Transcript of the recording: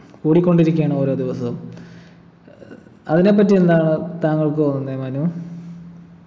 കൂടിക്കൊണ്ടിരിക്കയാണ് ഓരോ ദിവസവും അതിനെപ്പറ്റി എന്താണ് താങ്കൾക്ക് തോന്നുന്നേ മനു